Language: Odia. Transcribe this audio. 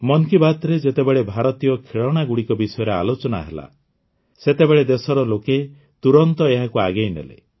ମନ୍ କି ବାତ୍ରେ ଯେତେବେଳେ ଭାରତୀୟ ଖେଳଣାଗୁଡ଼ିକ ବିଷୟରେ ଆଲୋଚନା ହେଲା ସେତେବେଳେ ଦେଶର ଲୋକେ ତୁରନ୍ତ ଏହାକୁ ଆଗେଇନେଲେ